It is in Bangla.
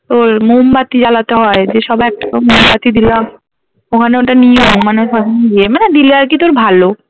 ওর মোমবাতি জ্বালাতে হয় দিয়ে সবাই একটা করে মোমবাতি দিলাম ওখানে ওটা নিয়ম মানে দিয়ে মানে দিলে আর কি তোর ভালো